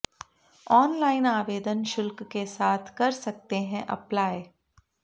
online आवेदन शुल्क के साथ कर सकते हैं अप्लाई